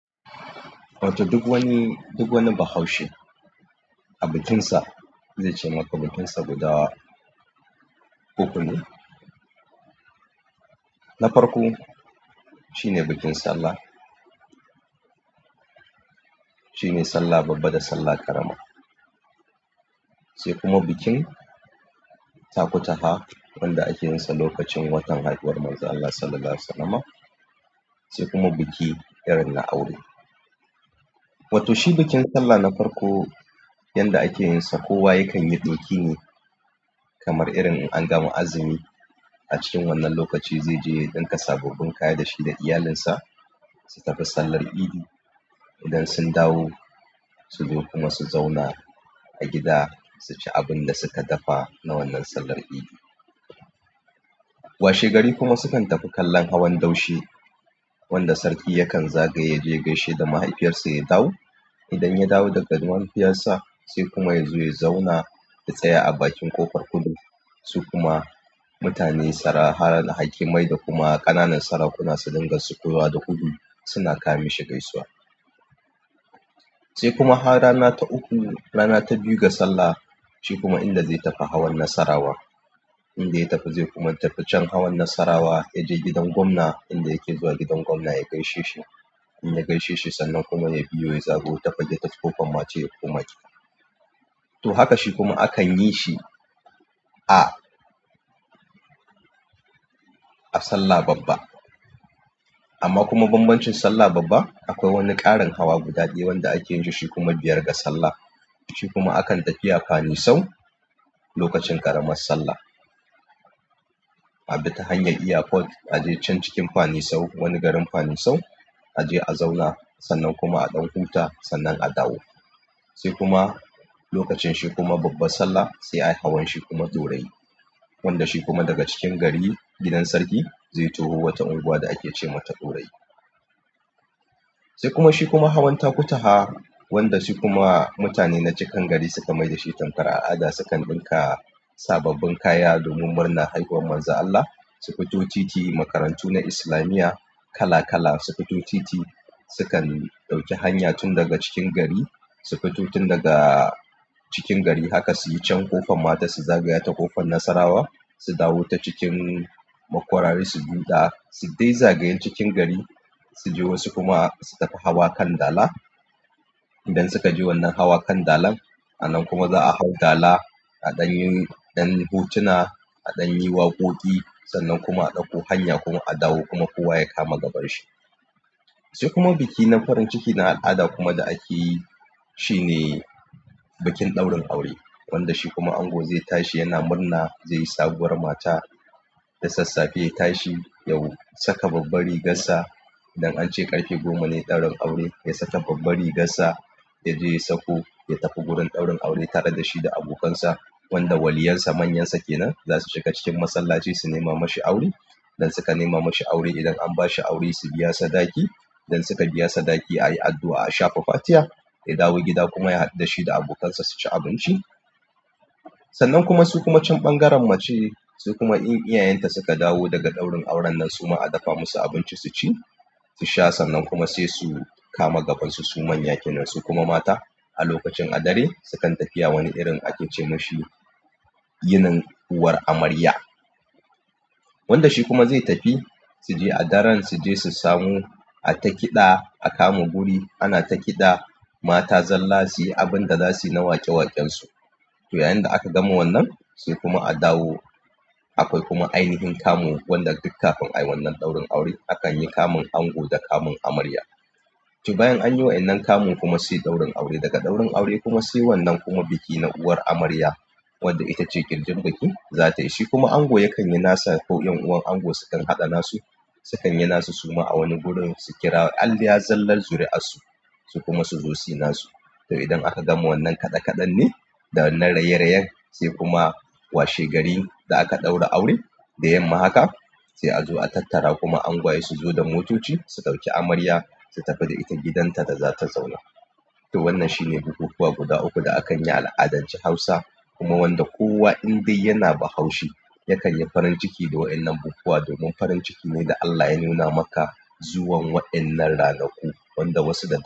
Wato duk wani, duk wani Bahaushe a bikinsa zai ce maka bikinsa guda ukune na farko shine bikin Sallah. Shine Sallah Babba da Sallah ƙarama. Sai kuma bikin Takutaha wanda ake yinsa lokacin watan haihuwar Manzon Allah Sallallahu Alaihi Wasallama. Sai kuma biki irin na aure. Wato shi bikin Sallah na farko yanda ake yinsa kowa yakan yi ɗoki ne kamar irin an gama azumi. A cikin wannan lokaci zai je ya ɗinka sababbin kaya da shi da iyalinsa su tafi sallar idi. Idan sun dawo su zo kuma su zauna a gida su ci abin da su ka dafa na wannan sallar idi. Washegari kuma su kan tafi kallon hawan daushe wanda sarki yakan zagaye yaje ya gaishe da mahaifiyarsa ya dawo. Idan ya dawo daga gidan mahaifiyarsa sai kuma ya zo ya zauna ya tsaya a bakin ƙofar kudu. Su kuma mutane sara har hakimai da kuma ƙananan sarakuna su dinga sukowa da gudu suna ka mishi gaisuwa. Sai kuma har rana ta uku, rana ta biyu ga Sallah. Shi kuma inda zai tafi hawan Nassarawa, inda ya tafi zai kuma tafi can hawan Nassarawa ya je gidan gwamna inda yake zuwa gidan gwamna ya gaishe shi, in ya gaishe shi sannan kuma ya biyo ya zagayo ta fage ta tafi ƙofar mata ya koma gida. To haka shi kuma akan yi shi, a. A Sallah Babba. Amma kuma bambancin Sallah Babba akwai wani ƙarin hawa guda ɗaya wanda ake yanke shi kuma biyar ga Sallah. Shi kuma akan tafiya Fani Sau lokacin ƙaramar Sallah. A bi ta hanyar airport a je can cikin Fani Sau, wani garin Fani Sau a je a zauna sannan kuma a ɗan huta sannan a dawo. Sai kuma lokacin shi kuma Babbar Sallah sai ayi hawan shi kuma ɗorayi. Wanda shi kuma daga cikin gari gidan sarki zai toho wata unguwa da ake ce mata ɗorayi. Sai kuma shi kuma hawan Takutaha wanda su kuma mutane na cikan gari suka mai da shi tankar al'ada sukan ɗinka sababbin kaya domin murna haihuwar Manzon Allah. A fito titi makarantu na islamiyya kala kala su fito titi sukan ɗauki hanya tun daga cikin gari haka suyi can ƙofar mata su zagaya ta ƙofar nasarawa su dawo ta cikin makwarari su biyo ta, su dai bi zagayen cikin gari su je wasu kuma su tafi hawa kan Dala. Idan suka je wannan hawan kan Dalan a nan kuma za'a hau dala a ɗan yin ɗan hutuna, a ɗan yi waƙoƙi sannan kuma a ɗauko hanya kuma a dawo kuma kowa ya kama gabanshi. Sai kuma biki na farin ciki na al'ada kuma da ake yi shi ne bikin ɗaurin aure wanda shi kuma ango zai tashi yana murna zai yi sabuwar mata, da sassafe ya tashi, ya saka babbar rigarsa. Idan ance ƙarfe goma ne ɗaurin aure ya saka babbar rigar sa ya je ya sauko ya tafi gurin ɗaurin aure tare da shi da abokansa wanda waliyansa manyansa kenan. Za su shiga cikin masallaci su nema mashi aure. Idan suka nema mashi aure, idan an bashi aure su biya sadaki. Idan suka biya sadaki ayi addu'a a shafa fatiya, ya dawo gida kuma ya haɗu da shi da abokansa su ci abinci. Sannan kuma su kuma can ɓangaren mace su kuma in iyayenta suka dawo daga ɗaurin auren nan su ma a dafa musu abinci su ci, su sha sannan kuma sai su kama gabansu su manya kenan. Su kuma mata a lokacin a dare sukan tafiya wani irin ake ce ma shi yinin uwar amarya wanda shi kuma zai tafi su je a daren su je su samu ata kiɗa a kama guri anata kiɗa mata zalla suyi abinda zasuyi na waƙe waƙen su to yayin da aka gama wannan sai kuma a dawo. Akwai kuma ainihin kamu wanda duk kafin ayi wannan ɗaurin aure akan yi kamun ango da kamun amarya. To bayan anyi wa'enan kamun kuma sai ɗaurin aure. Daga ɗaurin aure kuma sai wannan kuma biki na uwar amarya wadda itace ƙirjin bikin za ta yi. Shi kuma ango yakan yi nasa ko ƴan uwan ango su kan haɗa nasu su kan yi nasu su ma a wani gurin su kira aliya zallal zuri'ansu su kuma su zo su yi nasu. To idan aka gama wannan kaɗe kaɗe ne da wannan raye-rayen sai kuma washegari da aka ɗaura aure da yamma haka sai a zo a tattara kuma angwaye su zo da motoci su ɗauki amarya su tafi da ita gidanta da za ta zauna. To wannan shi ne bukukuwa guda uku da akan yi a al'adancen Hausa kuma wanda kowa in dai yana Bahaushe yakan yi farin ciki da wa'ennan bukukuwa domin farin ciki ne da Allah ya nuna maka zuwan wa'ennan ranaku wanda wasu da su.